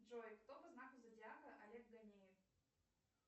джой кто по знаку зодиака олег ганеев